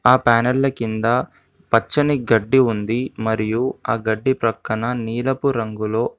ఆ ప్యానెళ్ళ కింద పచ్చని గడ్డి ఉంది. మరియు ఆ గడ్డి ప్రక్కన నీలపు రంగులో--